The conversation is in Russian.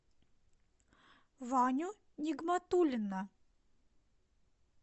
ваню нигматуллина